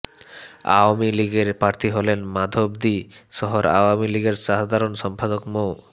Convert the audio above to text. আওয়ামী লীগের প্রার্থী হলেন মাধবদী শহর আওয়ামী লীগের সাধারণ সম্পাদক মো